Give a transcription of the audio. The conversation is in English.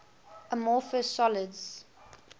amorphous solids